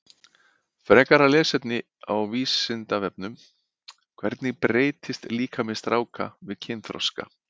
Frekara lesefni á Vísindavefnum: Hvernig breytist líkami stráka við kynþroska?